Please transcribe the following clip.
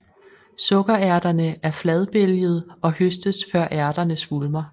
Sukkerærterne er fladbælgede og høstes før ærterne svulmer